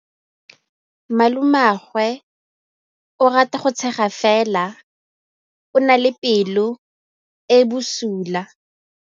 Malomagwe o rata go tshega fela o na le pelo e e bosula.